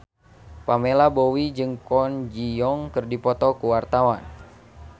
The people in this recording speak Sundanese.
Pamela Bowie jeung Kwon Ji Yong keur dipoto ku wartawan